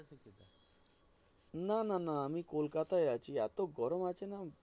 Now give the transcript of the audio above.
না না না আমি কোলকাতায় আছি এতো গরম আছেনা